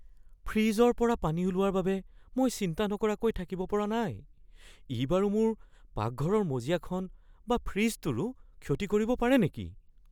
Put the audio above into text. ফ্ৰিজৰ পৰা পানী ওলোৱাৰ বাবে মই চিন্তা নকৰাকৈ থাকিব পৰা নাই- ই বাৰু মোৰ পাকঘৰৰ মজিয়াখন বা ফ্ৰিজটোৰো ক্ষতি কৰিব পাৰে নেকি?